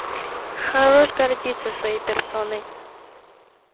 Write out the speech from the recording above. хорош гордиться своей персоной